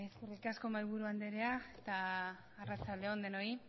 bai eskerrik asko mahaiburu andrea eta arratsaldeon denoi